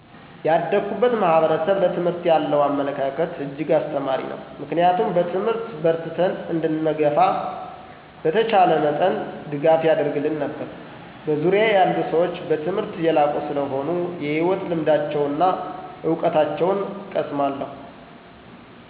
ያደኩበት ማህበረሰብ ለትምህርት ያለው አመለካከት እጅግ አስተማሪ ነው ምክንያቱም በትምህርት በርትተን እንድንገፋ በተቻለው መጠን ድጋፍ ያደርግልን ነበር። በዙርያየ ያሉ ሰዎች በትምህርት የላቁ ሰለሆኑ የህይወት ልምዳቸውና እውቀታቸውን እቀሰማለሁ።